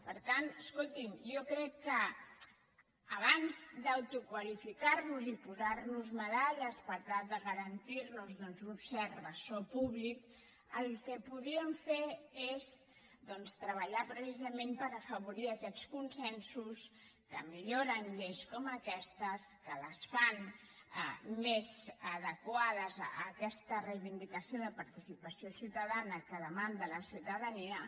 per tant escolti’m jo crec que abans d’autoqualificar nos i posar nos medalles per tal de garantir nos un cert ressò públic el que podríem fer és treballar precisament per afavorir aquests consensos que milloren lleis com aquestes que les fan més adequades a aquesta reivindicació de participació ciutadana que demana la ciutadania